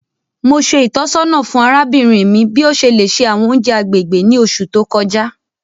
Mo ṣe ìtọ́sọ́nà fún arábìnrin mi bi o ṣe le ṣe àwọn ounjẹ agbègbè ni oṣù to kọjá.